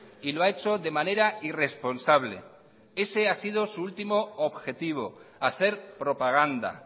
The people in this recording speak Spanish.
y lo ha hecho de manera irresponsable ese ha sido su último objetivo hacer propaganda